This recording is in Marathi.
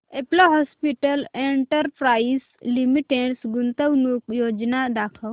अपोलो हॉस्पिटल्स एंटरप्राइस लिमिटेड गुंतवणूक योजना दाखव